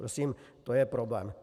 Prosím, to je problém.